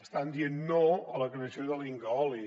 estan dient no a la creació de l’incaoli